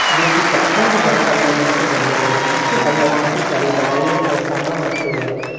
जो की पत्थर या संगमरमर से बने हुएं हैं जिसके अंदर काफी सारी दवाइयां और सामान रखे हुएं हैं।